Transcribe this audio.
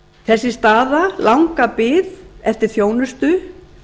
þessi staða langa bið eftir þjónustu